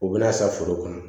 U bɛna san foro kɔnɔ